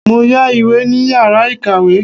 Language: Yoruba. Mo yá ìwé ní yàrá ìkàwé.